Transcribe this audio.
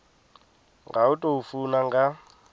nga u tou funa nga